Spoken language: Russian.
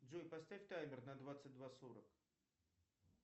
джой поставь таймер на двадцать два сорок